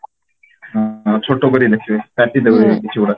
ହଁ ଛୋଟ କରିକି ଲେଖୁଛନ୍ତି କାଟି ଦଉଛନ୍ତି କିଛିଗୁଡା